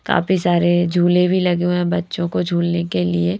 काफी सारे झूले भी लगे हुए है बच्चों को झूलने के लिए।